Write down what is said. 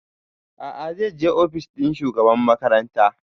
A'a zai je ofis ɗin shugabar makaranta